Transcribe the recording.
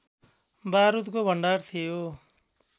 बारुदको भण्डार थियो